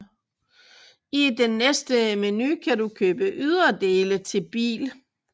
I den næste menu kan du købe ydre dele til bil